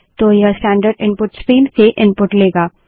तो यह standard input stream से इनपुट लेगा